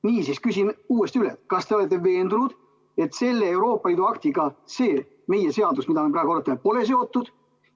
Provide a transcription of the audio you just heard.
Niisiis, küsin uuesti üle: kas te olete veendunud, et selle Euroopa Liidu aktiga see meie eelnõu, mida me praegu arutame, pole seotud?